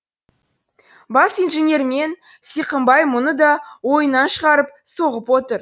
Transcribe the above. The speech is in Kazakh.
бас инженермен сиқымбай мұны да ойынан шығарып соғып отыр